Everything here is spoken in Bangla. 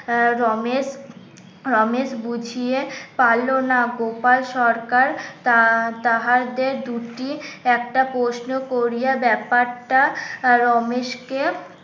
আহ রমেশ রমেশ বুছিয়ে পারলো না গোপাল সরকার তা তাহাদের দুটি একটা প্রশ্ন করিয়া ব্যাপারটা রমেশকে